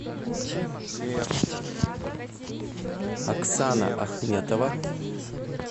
оксана ахметова